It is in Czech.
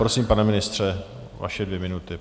Prosím, pane ministře, vaše dvě minuty.